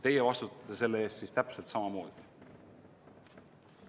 Teie vastutate selle eest siis täpselt samamoodi.